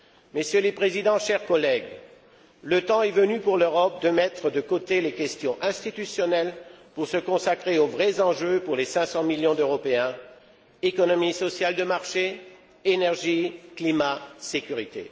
Messieurs les Présidents, chers collègues, le temps est venu pour l'Europe de mettre de côté les questions institutionnelles pour se consacrer aux vrais enjeux pour les 500 millions d'Européens économie sociale de marché, énergie, climat, sécurité.